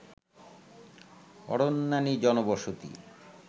অরণ্যানী জনবসতি